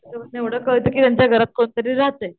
एवढं काळात कि त्यांच्या घरात कोण तरी राहतंय.